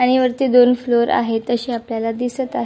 आणि वरती दोन फ्लोर आहेत असे आपल्याला दिसत आ--